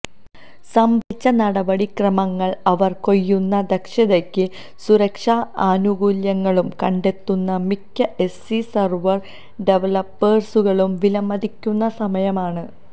സംഭരിച്ച നടപടിക്രമങ്ങൾ അവർ കൊയ്യുന്ന ദക്ഷതയ്ക്കും സുരക്ഷാ ആനുകൂല്യങ്ങളും കണ്ടെത്തുന്ന മിക്ക എസ്സി സെർവർ ഡവലപ്പേഴ്സുകളും വിലമതിക്കുന്ന സമയമാണ്